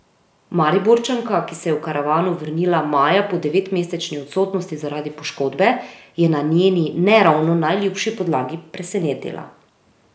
Mariborčanka, ki se je v karavano vrnila maja po devetmesečni odsotnosti zaradi poškodbe, je na njeni ne ravno najljubši podlagi presenetila.